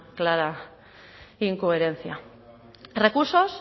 clara incoherencia recursos